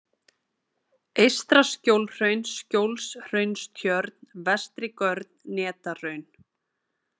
Eystra-Skjólhraun, Skjólshraunstjörn, Vestri-Görn, Netahraun